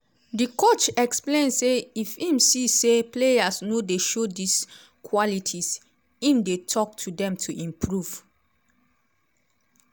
di coach explain say if im see say players no dey show dis qualities im dey tok to dem to improve